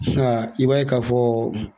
Nka i b'a ye ka fɔ